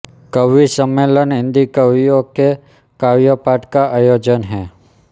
कवि सम्मेलन हिंदी कवियों के काव्यपाठ का आयोजन है